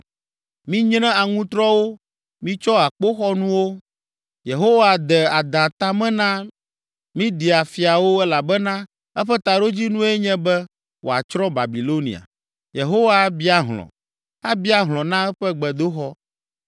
“Minyre aŋutrɔwo, mitsɔ akpoxɔnuwo! Yehowa de adã ta me na Media fiawo elabena eƒe taɖodzinue nye be wòatsrɔ̃ Babilonia. Yehowa abia hlɔ̃, abia hlɔ̃ na eƒe gbedoxɔ.